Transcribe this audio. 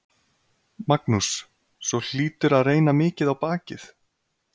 Magnús: Svo hlýtur að reyna mikið á bakið?